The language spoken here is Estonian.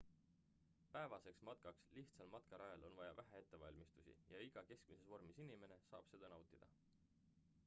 päevaseks matkaks lihtsal matkarajal on vaja vähe ettevalmistusi ja iga keskmises vormis inimene saab seda nautida